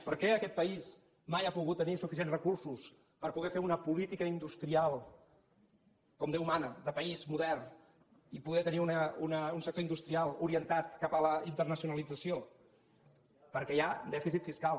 per què aquest país mai ha pogut tenir suficients recur·sos per poder fer una política industrial com déu mana de país modern i poder tenir un sector industrial orientat cap a la internacionalització perquè hi ha dèficit fiscal